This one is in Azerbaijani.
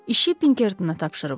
İşi Pinkertona tapşırıblar.